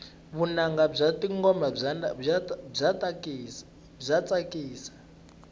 vunanga bya tingoma bya tsakisa